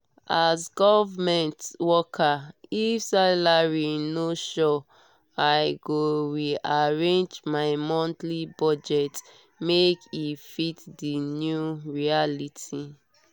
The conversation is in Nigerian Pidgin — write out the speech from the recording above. as government worker if salary no sure i go re-arrange my monthly budget make e fit the new reality.